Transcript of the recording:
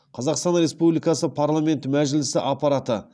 қазақстан республикасы парламенті мәжілісі аппараты